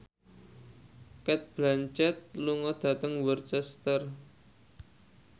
Cate Blanchett lunga dhateng Worcester